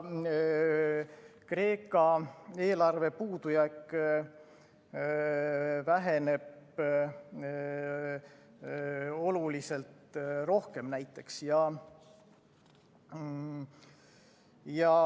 Kreeka eelarve puudujääk väheneb näiteks oluliselt rohkem.